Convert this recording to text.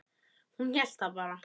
Hún hélt það bara.